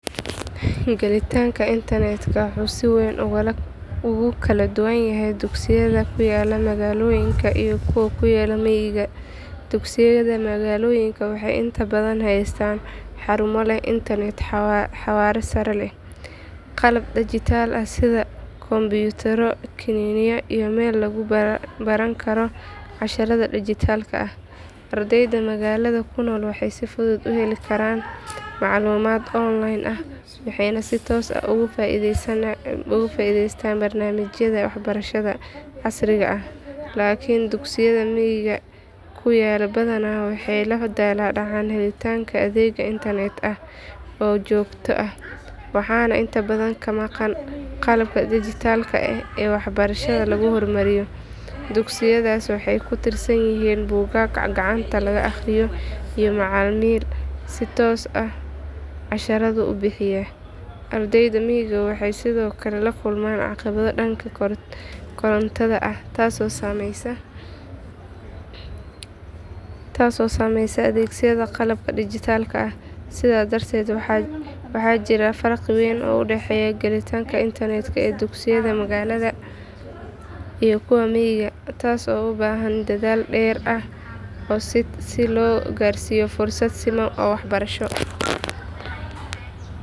Gelitaanka internetka wuxuu si weyn ugu kala duwan yahay dugsiyada ku yaalla magaalooyinka iyo kuwa ku yaalla miyiga. Dugsiyada magaalooyinka waxay inta badan haystaan xarumo leh internet xawaare sare leh, qalab dhijitaal ah sida kombiyuutarro, kiniiniyo iyo meel lagu baran karo casharrada dhijitaalka ah. Ardayda magaalada ku nool waxay si fudud u heli karaan macluumaad online ah waxayna si toos ah uga faa’iidaystaan barnaamijyada waxbarashada casriga ah. Laakiin dugsiyada miyiga ku yaal badanaa waxay la daalaa dhacaan helitaanka adeeg internet ah oo joogto ah, waxaana inta badan ka maqan qalabka dhijitaalka ah ee waxbarashada lagu hormariyo. Dugsiyadaas waxay ku tiirsan yihiin buugaag gacanta laga akhriyo iyo macallimiin si toos ah casharrada u bixiyaa. Ardayda miyiga waxay sidoo kale la kulmaan caqabado dhanka korontada ah taasoo saameyneysa adeegsiga qalabka dhijitaalka ah. Sidaas darteed waxaa jira farqi weyn oo u dhexeeya gelitaanka internetka ee dugsiyada magaalada iyo kuwa miyiga, taasoo u baahan dadaal dheeraad ah si loo gaarsiiyo fursado siman oo waxbarasho.